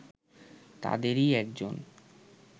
তাদেরই একজন